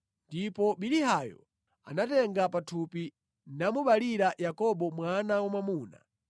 ndipo Bilihayo anatenga pathupi namubalira Yakobo mwana wamwamuna.